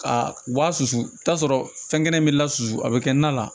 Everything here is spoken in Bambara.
Ka u ba susu i bi t'a sɔrɔ fɛn kelen bɛ la susu a bɛ kɛ na la